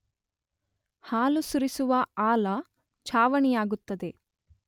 ಹಾಲು ಸುರಿಸುವ ಆಲ, ಛಾವಣಿಯಾಗುತ್ತದೆ